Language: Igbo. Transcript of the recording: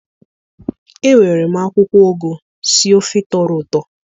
Ewere m akwụkwọ ụgụ sie ofe tọrọ ụtọ